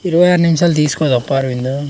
ఇరవై ఆరు నుంచల్లి తీసుకుని చెప్పార్ --